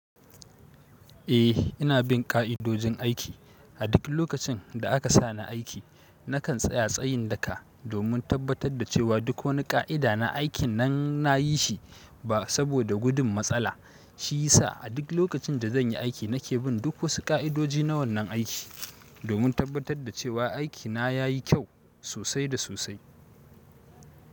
Eh ina bin ƙa'idojin aiki. A duk lokacin da aka sa ni aiki, nakan tsaya tsayin daka domin tabbatar da cewa duk wani ƙa'ida na aikin nan nayi shi ba saboda gudun matsala. Shi yasa a duk lokacin da zanyi aiki nake bin duk wasu ƙa'idoji na wannan aiki domin tabbatar da cewa aikina yayi kyau sosai da sosai.